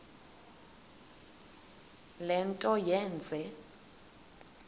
le nto yenze